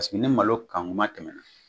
Paseke ni malo kan kuma tɛmɛna